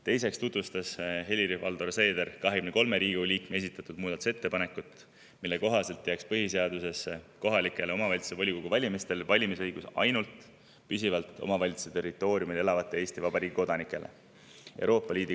Teiseks tutvustas Helir-Valdor Seeder 23 Riigikogu liikme esitatud muudatusettepanekut, mille kohaselt jääks põhiseaduse järgi valimisõigus kohaliku omavalitsuse volikogu valimistel ainult püsivalt omavalitsuse territooriumil elavatele Eesti Vabariigi kodanikele.